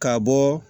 Ka bɔ